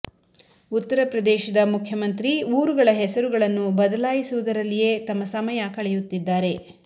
ಉತ್ತರ ಪ್ರದೇಶದ ಮುಖ್ಯಮಂತ್ರಿ ಊರುಗಳ ಹೆಸರುಗಳನ್ನು ಬದಲಾಯಿಸುವುದರಲ್ಲಿಯೇ ತಮ್ಮ ಸಮಯ ಕಳೆಯುತ್ತಿದ್ದಾರೆ